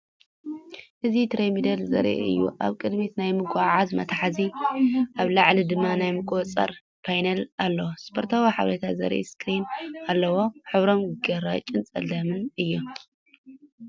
እዚ ትሬድሚል ዘርኢ እዩ፤ ኣብ ቅድሚት ናይ ምጉዓዝ መትሓዚ ኣብ ላዕሊ ድማ ናይ ምቁጽጻር ፓነል ኣሎ፣ ስፖርታዊ ሓበሬታ ዘርኢ ስክሪን ኣለዎ። ሕብሮም ግራጭን ጸሊምን እዮም።